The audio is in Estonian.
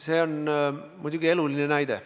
See on muidugi eluline näide.